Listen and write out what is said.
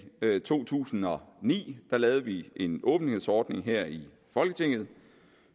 to tusind og ni lavede vi en åbenhedsordning her i folketinget